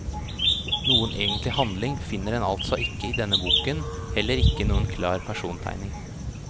Noen egentlig handling finner en altså ikke i denne boken, heller ikke noen klar persontegning.